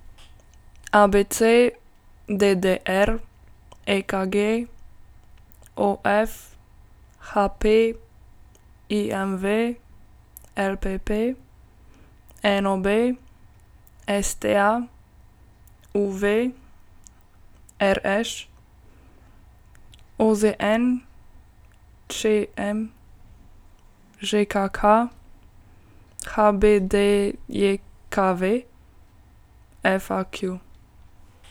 ABC, DDR, EKG, OF, HP, IMV, LPP, NOB, STA, UV, RŠ, OZN, ČM, ŽKK, HBDJKV, FAQ.